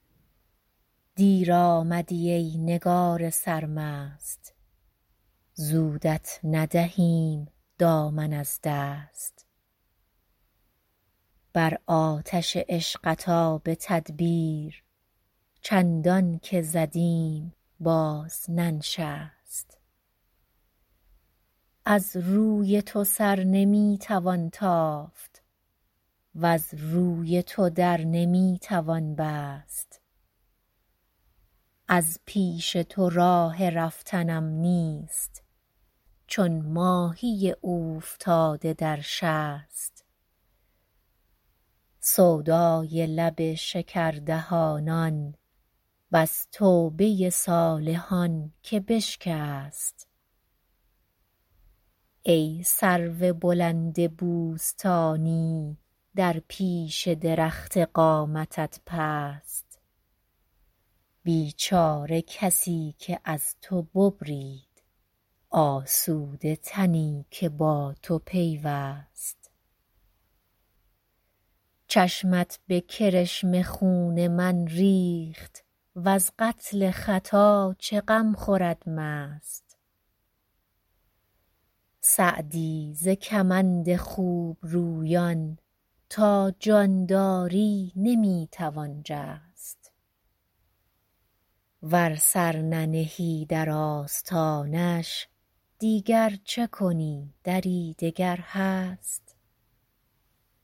دیر آمدی ای نگار سرمست زودت ندهیم دامن از دست بر آتش عشقت آب تدبیر چندان که زدیم باز ننشست از رای تو سر نمی توان تافت وز روی تو در نمی توان بست از پیش تو راه رفتنم نیست چون ماهی اوفتاده در شست سودای لب شکردهانان بس توبه صالحان که بشکست ای سرو بلند بوستانی در پیش درخت قامتت پست بیچاره کسی که از تو ببرید آسوده تنی که با تو پیوست چشمت به کرشمه خون من ریخت وز قتل خطا چه غم خورد مست سعدی ز کمند خوبرویان تا جان داری نمی توان جست ور سر ننهی در آستانش دیگر چه کنی دری دگر هست